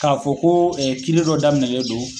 Ka fɔ ko ɛɛ kiri dɔ daminɛlen don